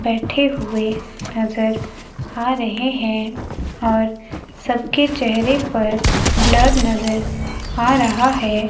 बैठे हुए नजर आ रहे हैं और सबके चेहरे पर ब्लर नजर आ रहा है।